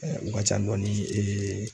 u ka ca dɔɔni